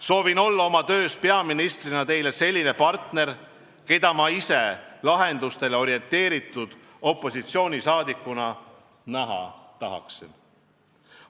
Soovin olla oma töös peaministrina teile selline partner, keda ma ise lahendustele orienteeritud opositsioonisaadikuna näha tahaksin.